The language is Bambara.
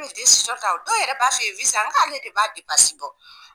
An bɛ ta o, dɔw yɛrɛ b'a f'i ye n k'ale de b'a bɔ.